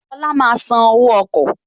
Lọla máa san owó ọkọ̀